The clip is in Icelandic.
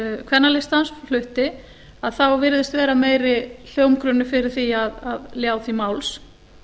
kvennalistans flutti að þá virðist vera meiri hljómgrunnur fyrir því að ljá því máls